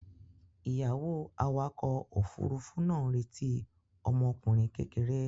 Ìyàwó awakọ̀ òfurufú náà ń retí ọmọkùnrin kékeré.